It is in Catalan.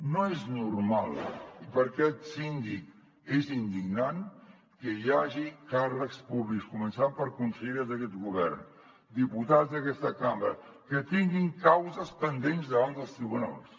no és normal i per aquest síndic és indignant que hi hagi càrrecs públics començant per conselleres d’aquest govern diputats d’aquesta cambra que tinguin causes pendents davant dels tribunals